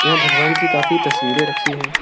यह भगवान की काफी तस्वीरें रखी हैं।